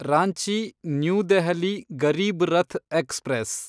Ranchi new Delhi Garib Rath express